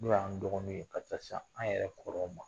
N'o y'an dɔgɔninw ye, ka taa se an yɛrɛ kɔrɔw ma.